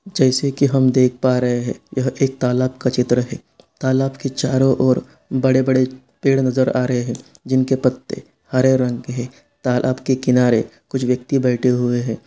जैसे की हम देख पा रहे हैं यह एक तालाब का चित्र है। तालाब की चारों और बड़े-बड़े पेड़ नजर आ रहे हैं जिनके पत्ते हरे रंग के हैं। तालाब के किनारे कुछ व्यक्ति बैठे हुए हैं।